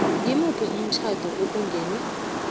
ngimuphi umtjhado okungenwe